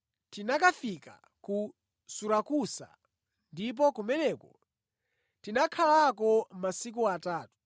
Tinakafika ku Surakusa ndipo kumeneko tinakhalako masiku atatu.